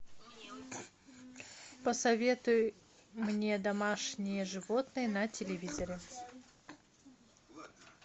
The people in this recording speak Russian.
посоветуй мне домашние животные на телевизоре